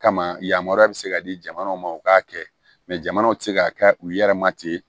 Kama yamaruya bɛ se ka di jamanaw ma u k'a kɛ mɛ jamanaw tɛ se ka kɛ u yɛrɛ ma ten